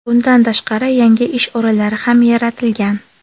Bundan tashqari, yangi ish o‘rinlari ham yaratilgan.